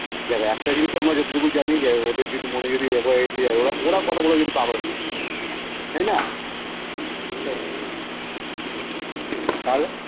দেখ একটা কিছু আমরা জেততুকু জানি যে ওদের যদি ওরা কথা বলে কিন্তু পাগল হয়ে যাবে তাইনা তাহলে